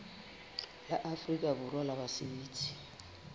la afrika borwa la basebetsi